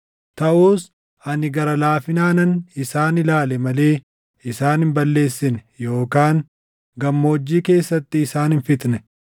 Taʼus ani gara laafinaanan isaan ilaale malee isaan hin balleessine yookaan gammoojjii keessatti isaan hin fixne.